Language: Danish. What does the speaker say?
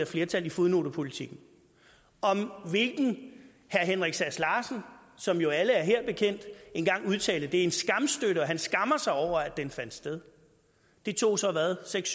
flertal i fodnotepolitikken om hvilken herre henrik sass larsen som jo er alle her bekendt en gang udtalte det er en skamstøtte han skammer sig over at den fandt sted det tog så hvad seks